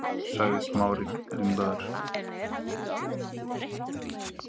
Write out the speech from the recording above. sagði Smári ringlaður.